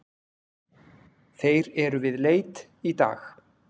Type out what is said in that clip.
Þeir eru við leit í dag.